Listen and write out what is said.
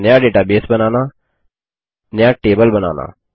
नया डेटाबेस बनाना नया टेबल बनाना